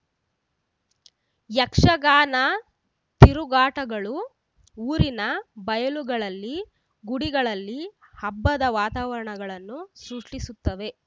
ಯಕ್ಷಗಾನ ತಿರುಗಾಟಗಳು ಊರಿನ ಬಯಲುಗಳಲ್ಲಿ ಗುಡಿಗಳಲ್ಲಿ ಹಬ್ಬದ ವಾತಾವರಣಗಳನ್ನು ಸೃಷ್ಟಿಸುತ್ತವೆ